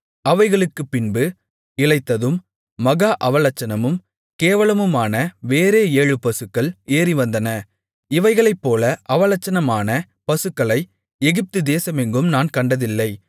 அவைகளுக்குப்பின்பு இளைத்ததும் மகா அவலட்சணமும் கேவலமுமான வேறே ஏழு பசுக்கள் ஏறிவந்தன இவைகளைப்போல அவலட்சணமான பசுக்களை எகிப்து தேசமெங்கும் நான் கண்டதில்லை